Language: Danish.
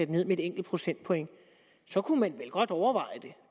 ned med et enkelt procentpoint så kunne man vel godt overveje det